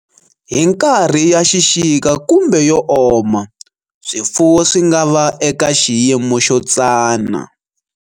Hi nkarhi ya xixika kumbe yo oma, swifuwo swi nga va eka xiyimo xo tsana.